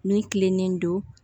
Min kilennen don